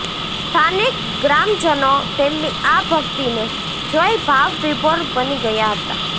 સ્થાનિક ગ્રામજનો તેમની આ ભકિતને જોઈ ભાવવિભોર બની ગયા હતાં